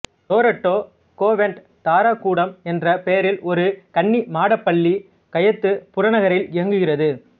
Loreto convent Tara கூடம் என்ற பெயரில் ஒரு கன்னி மாடப் பள்ளி கைத்து புறநகரில் இயங்குகிறது